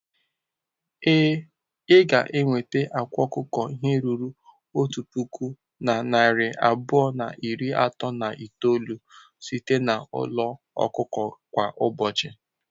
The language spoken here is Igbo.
Ee, ị ga-enweta akwa ọkụkọ ihe ruru otu puku na narị abụọ na iri atọ na itoolu site na n'ụlọ ọkụkọ kwa ụbọchị.